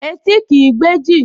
Etí kìí gbẹ́jì